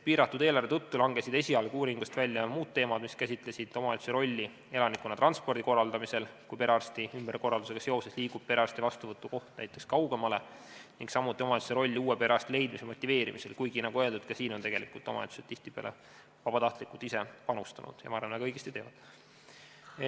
Piiratud eelarve tõttu langesid esialgu uuringust välja muud teemad, mis käsitlesid omavalitsuse rolli elanikkonna transpordi korraldamisel, kui perearstiabi ümberkorraldusega seoses liigub perearsti vastuvõtu koht näiteks kaugemale, samuti omavalitsuse roll uue perearsti leidmise motiveerimisel, kuigi, nagu öeldud, ka siia on omavalitsused tihtipeale vabatahtlikult ise panustanud – ma arvan, et väga õigesti teevad.